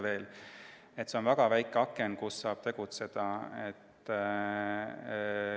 Nii et see on väike aken, mille vältel saab tegutseda.